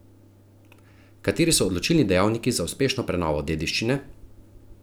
Kateri so odločilni dejavniki za uspešno prenovo dediščine?